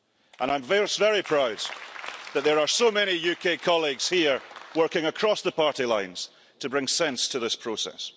And I'm very proud that there are so many UK colleagues here working across party lines to bring sense to this process.